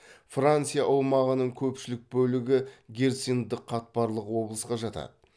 франция аумағының көпшілік бөлігі герциндік қатпарлық облысқа жатады